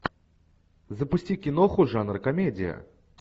запусти киноху жанр комедия